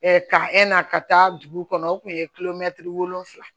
ka ka taa dugu kɔnɔ o tun ye wolonwula ye